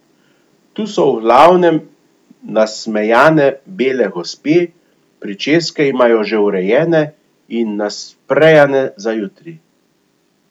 Tu so v glavnem nasmejane bele gospe, pričeske imajo že urejene in nasprejane za jutri.